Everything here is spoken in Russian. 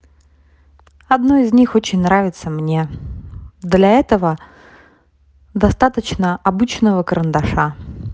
одно из них очень нравится мне для этого достаточно обычного карандаша